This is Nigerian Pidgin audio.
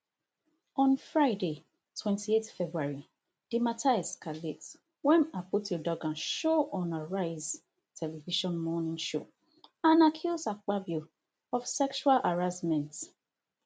on friday twenty-eight february di mata escalate wem akpotiuduaghan show on arise television morning show and accuse akpabio of sexual harassment